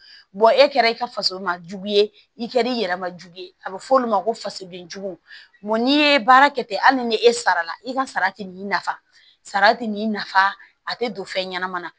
e kɛra i ka faso ma jugu ye i kɛr'i yɛrɛ majugu ye a bɛ fɔ olu ma ko fasodenjugu n'i ye baara kɛ ten hali ni e sara la i ka sara tɛ n'i nafa sara ti n'i nafa a te don fɛn ɲɛnama na